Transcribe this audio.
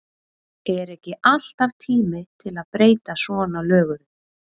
Er ekki alltaf tími til að breyta svona löguðu?